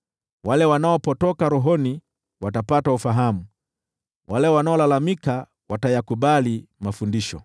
Wale wanaopotoka rohoni watapata ufahamu, nao wale wanaolalamika watayakubali mafundisho.”